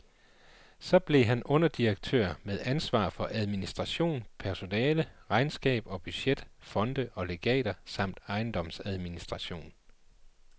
Så blev han underdirektør med ansvar for administration, personale, regnskab og budget, fonde og legater samt ejendomsadministration.